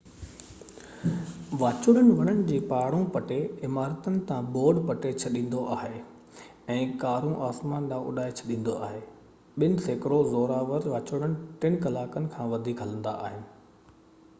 واچوڙو وڻن کي پاڙئون پٽي عمارتن تان بورڊ پٽي ڇڏيندو آهي ۽ ڪارون آسمان ڏانهن اڏائي ڇڏيندو آهي ٻہ سيڪڙو زورآور واچوڙا ٽن ڪلاڪن کان وڌيڪ هلندا آهن